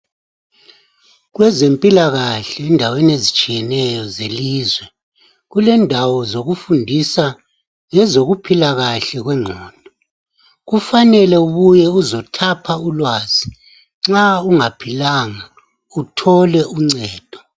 Kwezempilakahle endaweni ezitshiyeneyo zelizwe ,kule ndawo zokufundisa ezokuphila kahle kwengqondo .Kufanele ubuye uzo thapha ulwazi nxa ungaphilanga uthole uncedo.